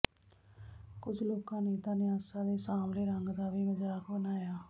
ਕੁੱਝ ਲੋਕਾਂ ਨੇ ਤਾਂ ਨਿਆਸਾ ਦੇ ਸਾਂਵਲੇ ਰੰਗ ਦਾ ਵੀ ਮਜਾਕ ਬਣਾਇਆ